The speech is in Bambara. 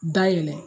Dayɛlɛ